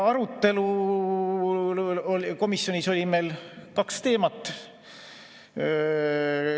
Komisjonis oli meil kaks teemat.